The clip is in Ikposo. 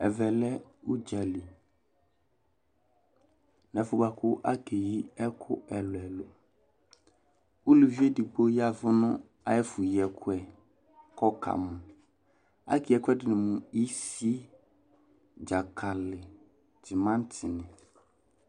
ɛvɛ lɛ udza li, nu ɛfuɛ bʋa ku okeyi ɛku ɛlu ɛlu, uluvi edigbo yati nu ayɛfu yi ɛkuɛ ku ɔka mu, ake yi ɛkuɛ di mu isi, dzakali, timanti ni